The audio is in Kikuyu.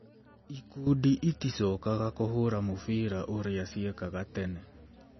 Ikundi iticokaga kũhũũra mũbira ũrĩa ciekaga tene.